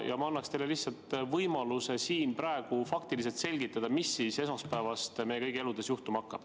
Ma annan teile lihtsalt võimaluse siin praegu faktide abil selgitada, mis siis esmaspäevast meie kõigi elus juhtuma hakkab.